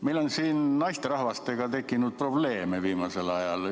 Meil on siin naisterahvastega tekkinud probleeme viimasel ajal.